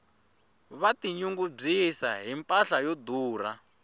va ti nyungubyisa hi mpahla yo durha